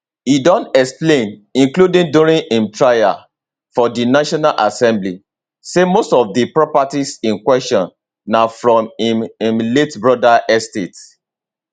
e don explain including during im trial for di national assembly say most of di properties in question na from im im late brother estate